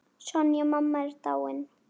Sonja mamma er dáinn.